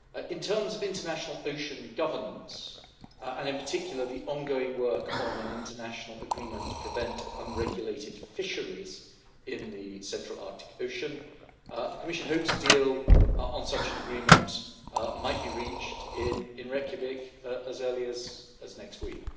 In terms of international ocean governance, and in particular the ongoing work on an international agreement to prevent unregulated fisheries in the central Arctic Ocean, the Commission hopes a deal on such an agreement might be reached in Reykjavik as early as next week.